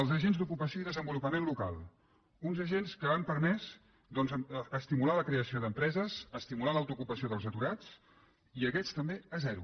els agents d’ocupació i desenvolupament local uns agents que han permès estimular la creació d’empreses estimular l’autoocupació dels aturats i aquests també a zero